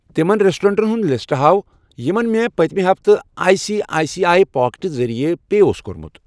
تِمَن رٮ۪سٹورنٛٹَن ہُنٛد لسٹہٕ ہاو یِمَن مےٚ پٔتمہِ ہفتہٕ I C I C I packets ذٔریعہٕ پے اوس کوٚرمُت۔